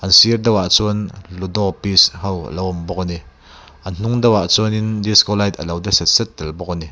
a sir deuh a chuan ludo piece ho alo awm bawk a ni a hnung deuh a chuan in disco light alo de set set tel bawk a ni.